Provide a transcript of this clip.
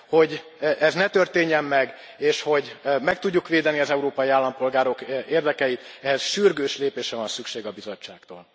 Hogy ez ne történjen meg, és hogy meg tudjuk védeni az európai állampolgárok érdekeit, ehhez sürgős lépésre van szükség a Bizottságtól.